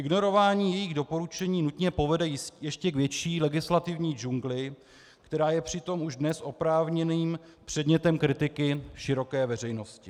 Ignorování jejích doporučení nutně povede ještě k větší legislativní džungli, která je přitom už dnes oprávněným předmětem kritiky široké veřejnosti.